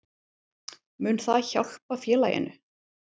Mun það hjálpa félaginu?